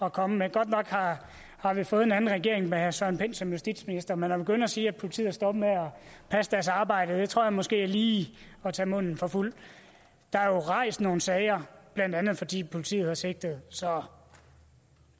at komme med godt nok har vi fået en anden regering med herre søren pind som justitsminister men at begynde at sige at politiet er stoppet med at passe deres arbejde tror jeg måske er lige at tage munden for fuld der er jo rejst nogle sager blandt andet fordi politiet sigtelser så